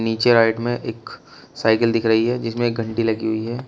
पीछे राइट में एक साइकिल दिख रही है जिसमें एक घंटी लगी हुई है।